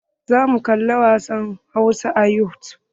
Zamu kali wasan hausa a yutub.